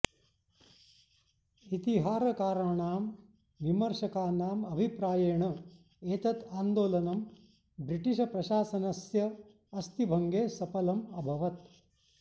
इतिहारकाराणां विमर्शकानाम् अभिप्रायेण एतत् आन्दोलनं ब्रिटिष् प्रशासनस्य अस्थिभङ्गे सपलम् अभवत्